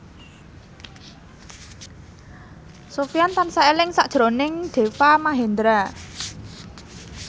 Sofyan tansah eling sakjroning Deva Mahendra